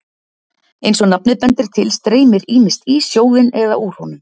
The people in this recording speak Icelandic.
eins og nafnið bendir til streymir ýmist í sjóðinn eða úr honum